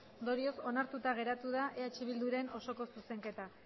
ondorioz onartuta geratu da eh bilduren osoko zuzenketa